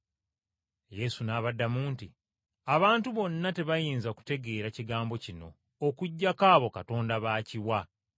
Yesu n’abaddamu nti, “Abantu bonna tebayinza kutegeera kigambo kino okuggyako abo Katonda b’akiwa.